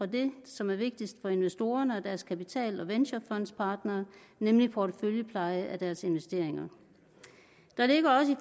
det som er vigtigst for investorerne og deres kapital og venturefondspartnere nemlig porteføljepleje af deres investeringer der ligger også